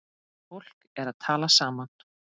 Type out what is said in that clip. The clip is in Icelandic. Fólk er að tala saman.